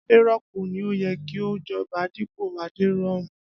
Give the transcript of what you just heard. Adéró̩pò ni ó ye̩ kí ó jo̩ba dípò Adéróunmú